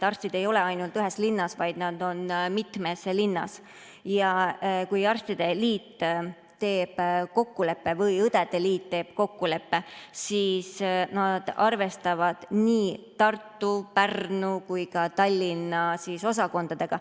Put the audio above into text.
Arstid ei ole ainult ühes linnas, vaid nad on mitmes linnas, ja kui arstide või õdede liit teeb kokkuleppe, siis nad arvestavad nii Tartu, Pärnu kui ka Tallinna osakonnaga.